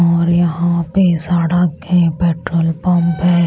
और यहां पे साड़ा के पेट्रोल पंप है।